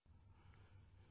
نئی دلّی ، 29 اگست /